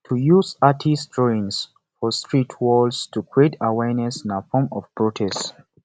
to use artistc drawings for street walls to create awearness na form of protest